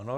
Ano.